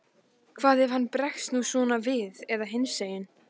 Hvað ef hann bregst nú svona við eða hinsegin?